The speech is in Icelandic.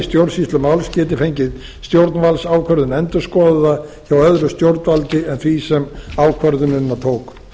stjórnsýslumáls geti fengið stjórnvaldsákvörðun endurskoðaða hjá öðru stjórnvaldi en því sem ákvörðunina tók